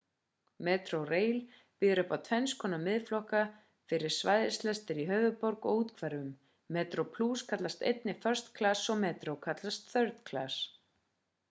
metrorail býður upp á tvennskonar miðaflokka fyrir svæðislestir í höfðaborg og úthverfum: metroplus kallast einnig first class og metro kallast third class